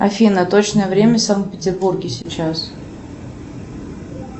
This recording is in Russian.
афина точное время в санкт петербурге сейчас